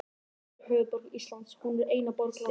Reykjavík er höfuðborg Íslands. Hún er eina borg landsins.